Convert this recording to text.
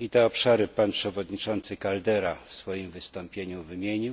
i te obszary pan przewodniczący Caldeira w swoim wystąpieniu wymienił.